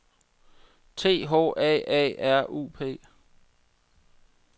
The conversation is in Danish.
T H A A R U P